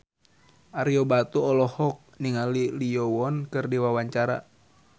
Ario Batu olohok ningali Lee Yo Won keur diwawancara